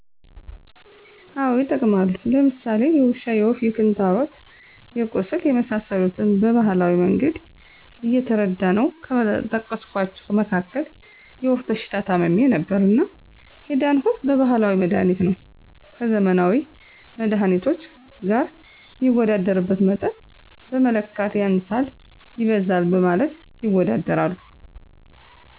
አወ ይጠቀማሉ። ለምሳሌ የውሻ፣ የወፍ፣ የክንታሮት፣ የቁስል የመሰሰሉትን በባህላዊ መንገድ እየተረዳነው ከጠቀስኳቸው መካክል የወፍ በሽታ ታምሜ ነበርና የዳንሁት በባህላዊ መድሀኒት ነው። ከዘመናዊ መድሃኒቶች ገር ሚወዳደርበት መጠን በመለካት ያንሳል ይበዛል በማለት ይወዳደራሉ።